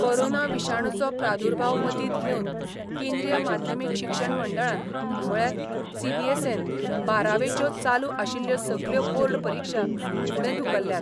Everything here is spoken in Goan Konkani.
कोरोना विशाणूचो प्रादुर्भाव मतींत घेवन केंद्रीय माध्यमीक शिक्षण मंडळान म्हळ्यार सीबीएसन बारावेच्यो चालू आशिल्ल्यो सगल्यो बोर्ड परिक्षा फुडें धुकल्ल्यात.